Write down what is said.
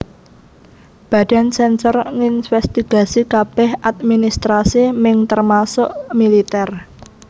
Badan sensor nginsvestigasi kabeh adminstrasi Ming termasuk militer